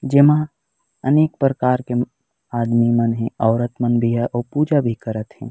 जेमा अनेक प्रकार के म आदमी मन हे औरत मन भी हे अऊ पुजा भी करत हे।